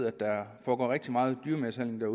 at der foregår rigtig meget dyremishandling og